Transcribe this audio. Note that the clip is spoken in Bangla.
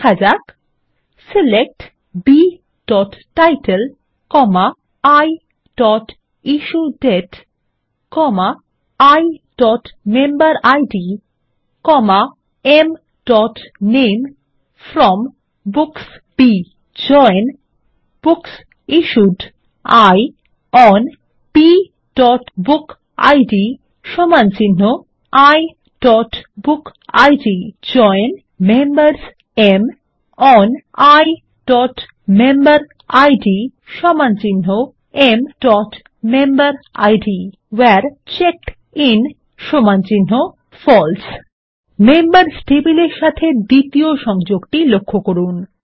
লিখুন160 সিলেক্ট bটাইটেল iইস্যুডেট iমেম্বেরিড mনামে from books B join books issued I on bবুকিড iবুকিড জয়েন মেম্বার্স M ওন iমেম্বেরিড mমেম্বেরিড ভেরে চেকডিন ফালসে মেম্বার্স টেবিলের সাথে দ্বিতীয় সংযোগটি লক্ষ্য করুন